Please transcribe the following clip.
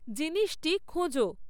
জিনিসটি খোঁজো